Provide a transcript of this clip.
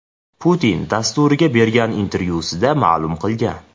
Putin” dasturiga bergan intervyusida ma’lum qilgan .